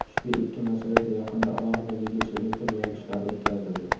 ushbu ikki masalada yaqinda alohida videoselektor yig‘ilishlari o‘tkazildi.